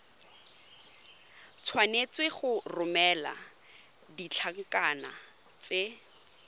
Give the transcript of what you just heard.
tshwanetse go romela ditlankana tse